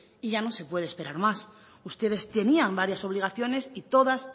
y ya no se puede esperar más ustedes tenían varias obligaciones y todas